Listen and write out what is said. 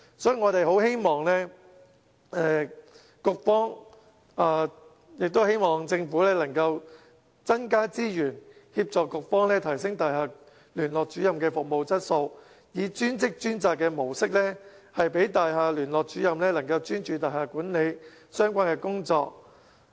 所以我們希望局方和政府能增加資源，提升大廈聯絡主任的服務質素，以"專職專責"模式讓大廈聯絡主任能專注大廈管理相關的工作。